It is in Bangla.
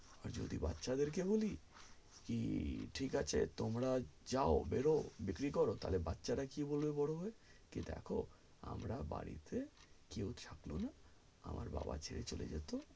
আর যদি বাচ্ছাদের কে বলি কি ঠিক আছে তোমরা যাও বের হও বিক্রি করো তালে বাচ্চারা কি বলবে বড়ো হয়ে যে দেখো আমরা বাড়িতে কেও থাকলো না আমার বাবা ছেড়ে চলে যেত